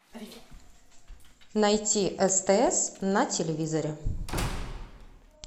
найти стс на телевизоре